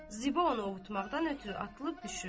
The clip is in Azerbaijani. Ziba onu ovutmaqdan ötrü atılıb düşürdü.